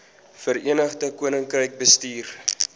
verenigde koninkryk bestuur